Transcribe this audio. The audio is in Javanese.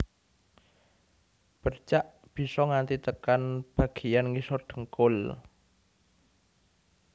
Bercak bisa nganti tekan bagéyan ngisor dhengkul